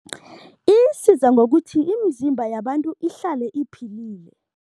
Isiza ngokuthi imizimba yabantu ihlale iphilile.